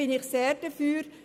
Da bin ich sehr dafür.